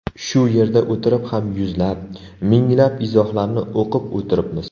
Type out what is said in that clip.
Shu yerda o‘tirib ham yuzlab, minglab izohlarni o‘qib o‘tiribmiz.